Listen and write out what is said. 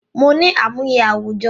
Mo ní àmúyẹ àwùjọ